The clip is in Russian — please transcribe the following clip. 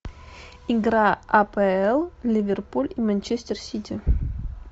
игра апл ливерпуль и манчестер сити